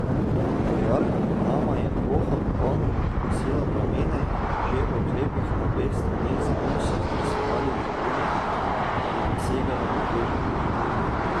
V jarku pod nama je ploha popolnoma pogasila plamene in možje v oklepih na obeh straneh zidu so zdrsovali v vodi, ki jim je segala do gležnjev.